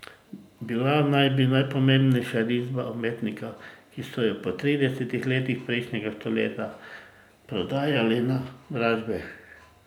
Bila naj bi najpomembnejša risba umetnika, ki so jo po tridesetih letih prejšnjega stoletja prodajali na dražbi.